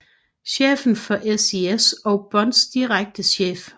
Chefen for SIS og Bonds direkte chef